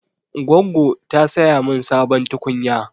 Goggo ta saya min sabon tukunya.